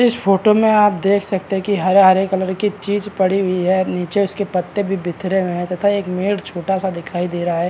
इस फोटो में आप देख सकते है की हरे हारे कलर की चीज पड़ी हुई है नीचे उसके पत्ते भी भिखरे हुए है तथा एक मेड छोटा सा दिखाई दे रहा है।